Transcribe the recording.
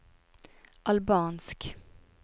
albansk